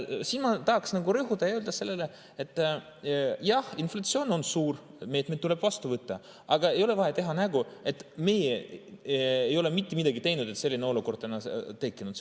Siin ma tahaksin rõhutada seda, et jah, inflatsioon on suur, meetmed tuleb võtta, aga ei ole vaja teha nägu, et meie ei ole mitte midagi teinud, et selline olukord on tekkinud.